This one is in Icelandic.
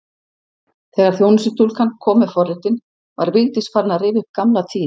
Þegar þjónustustúlkan kom með forréttinn var Vigdís farin að rifja upp gamla tíð.